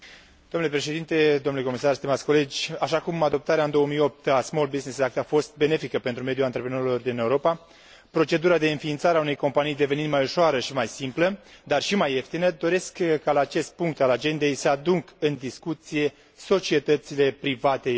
Așa cum adoptarea în 2008 a documentului a fost benefică pentru mediul antreprenorilor din Europa, procedura de înființare a unei companii devenind mai ușoară și mai simplă, dar și mai ieftină, doresc ca la acest punct al agendei să aduc în discuție societățile private europene, așa numitele SPE uri.